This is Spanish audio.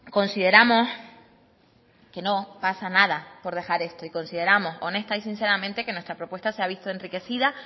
consideramos que no pasa nada por dejar esto y consideramos honesta y sinceramente que nuestra propuesta se ha visto enriquecida